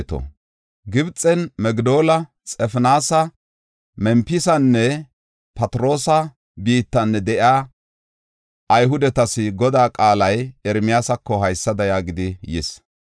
Gibxen Migdoola, Xafinaasa, Mempisanne Phatiroosa biittan de7iya Ayhudetas Godaa qaalay Ermiyaasako haysada yaagidi yis.